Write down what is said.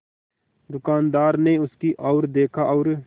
दुकानदार ने उसकी ओर देखा और